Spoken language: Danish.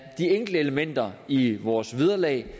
de enkelte elementer i vores vederlag